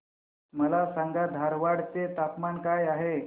मला सांगा धारवाड चे तापमान काय आहे